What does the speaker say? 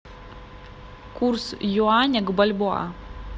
курс юаня к бальбоа